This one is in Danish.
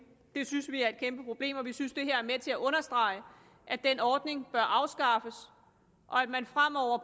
det synes vi er et kæmpe problem og vi synes det her er med til at understrege at den ordning bør afskaffes og at man fremover